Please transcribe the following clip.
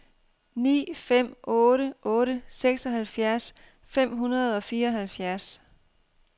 ni fem otte otte seksoghalvfjerds fem hundrede og fireoghalvfjerds